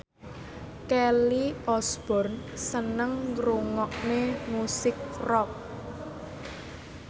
Kelly Osbourne seneng ngrungokne musik rock